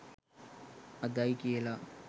අදයි කියල